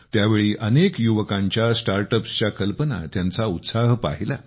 त्यावेळी अनेक युवकांच्या स्टार्टअप्सच्या कल्पना त्यांचा उत्साह पाहिला